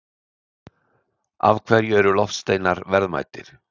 Af hverju eru loftsteinar verðmætir?